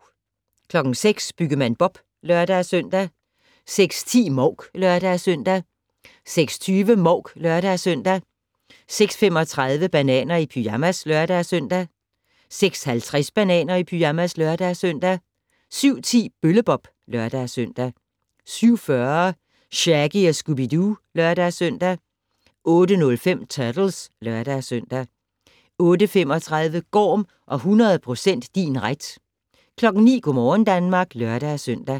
06:00: Byggemand Bob (lør-søn) 06:10: Mouk (lør-søn) 06:20: Mouk (lør-søn) 06:35: Bananer i pyjamas (lør-søn) 06:50: Bananer i pyjamas (lør-søn) 07:10: Bølle-Bob (lør-søn) 07:40: Shaggy & Scooby-Doo (lør-søn) 08:05: Turtles (lør-søn) 08:35: Gorm og 100% din ret 09:00: Go' morgen Danmark (lør-søn)